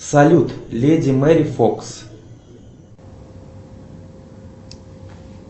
салют леди мэри фокс